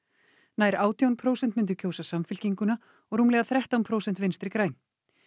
nær átján prósent myndu kjósa Samfylkinguna og rúmlega þrettán prósent Vinstri græn